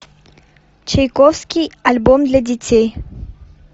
чайковский альбом для детей